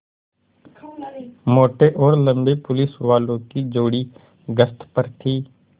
मोटे और लम्बे पुलिसवालों की जोड़ी गश्त पर थी